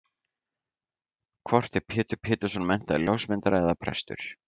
Hvort er Pétur Pétursson menntaður ljósmyndari eða prestur?